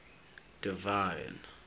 divine